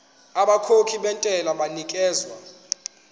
abakhokhi bentela banikezwa